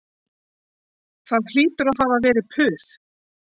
Það hlýtur að hafa verið puð